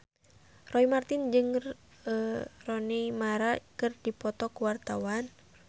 Roy Marten jeung Rooney Mara keur dipoto ku wartawan